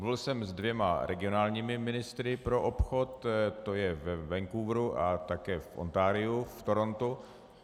Mluvil jsem se dvěma regionálními ministry pro obchod, to je ve Vancouveru a také v Ontariu v Torontu.